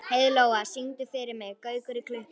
Heiðlóa, syngdu fyrir mig „Gaukur í klukku“.